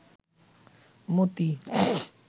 মতি